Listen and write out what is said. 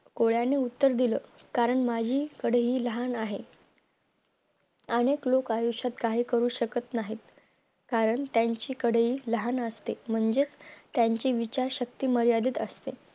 कोळ्यांनी उत्तर दिल कारण माझी कढई लहान आहे अनेक लोक आयुष्यात काय करू शकत नाहीत कारण त्याची कढई लहान असते म्हणजे त्याची विचार शक्ती मर्यादित असते